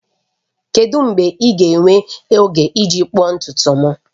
Kedu mgbe ị ga-enwe oge iji kpụọ ntutu m?